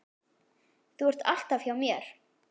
Þú ert alltaf hjá mér.